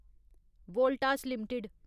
Voltas limited